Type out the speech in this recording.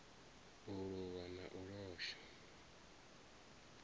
u luvha na u losha